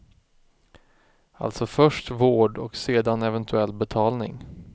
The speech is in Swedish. Alltså först vård och sedan eventuell betalning.